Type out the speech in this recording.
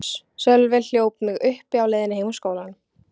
Sölvi hljóp mig uppi á leiðinni heim úr skólanum.